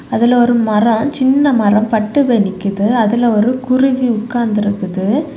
அதுல ஒரு மரம் சின்ன மரம் பட்டு போய் நிக்குது அதுல ஒரு குருவி உட்கார்ந்து இருக்குது.